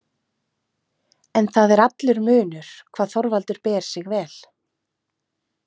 En það er allur munur hvað Þorvaldur ber sig vel.